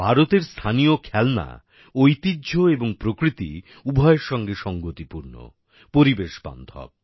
ভারতের স্থানীয় খেলনা ঐতিহ্য এবং প্রকৃতি উভয়ের সঙ্গে সঙ্গতিপূর্ণ পরিবেশ বান্ধব